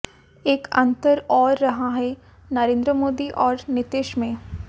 एक अंतर और रहा है नरेन्द्र मोदी और नीतीश में